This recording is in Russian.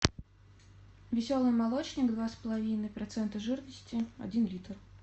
веселый молочник два с половиной процента жирности один литр